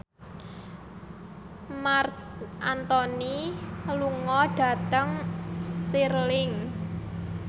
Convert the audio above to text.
Marc Anthony lunga dhateng Stirling